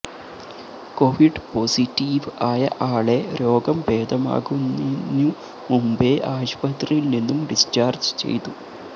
Covid positive ആയ ആളെ രോഗം ഭേദമാകുന്നിനു മുമ്പേ ആശുപത്രിയില് നിന്നും ഡിസ്ചാര്ജ് ചെയ്തു